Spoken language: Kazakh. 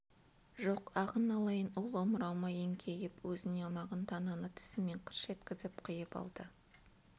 жоқ ағын алайын ол омырауыма еңкейіп өзіне ұнаған тананы тісімен қырш еткізіп қиып алды